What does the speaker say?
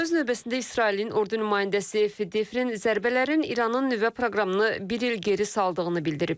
Öz növbəsində İsrailin ordu nümayəndəsi Fedefin zərbələrin İranın nüvə proqramını bir il geri saldığını bildirib.